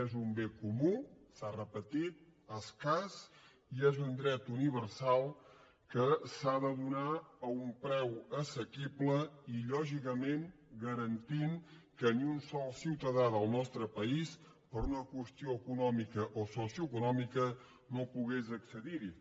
és un bé comú s’ha repetit escàs i és un dret universal que s’ha de donar a un preu assequible i lògicament garantint que ni un sol ciutadà del nostre país per una qüestió econòmica o socioeconòmica no pogués accedir hi